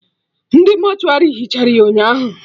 Ndị mortuary hichara ya ụnyaahụ